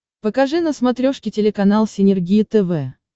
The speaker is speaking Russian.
покажи на смотрешке телеканал синергия тв